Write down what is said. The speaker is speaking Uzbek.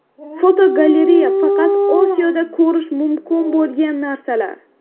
Fotogalereya: Faqat Osiyoda ko‘rish mumkin bo‘lgan narsalar.